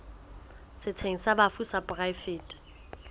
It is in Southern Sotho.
setsheng sa bafu sa poraefete